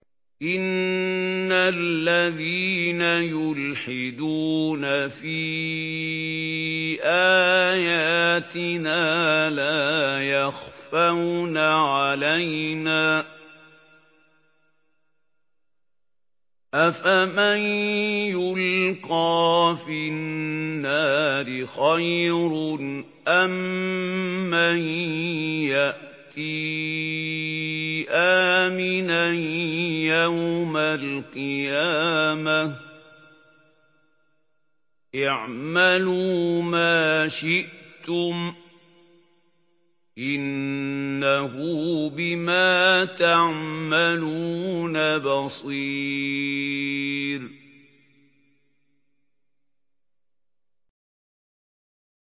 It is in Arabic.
إِنَّ الَّذِينَ يُلْحِدُونَ فِي آيَاتِنَا لَا يَخْفَوْنَ عَلَيْنَا ۗ أَفَمَن يُلْقَىٰ فِي النَّارِ خَيْرٌ أَم مَّن يَأْتِي آمِنًا يَوْمَ الْقِيَامَةِ ۚ اعْمَلُوا مَا شِئْتُمْ ۖ إِنَّهُ بِمَا تَعْمَلُونَ بَصِيرٌ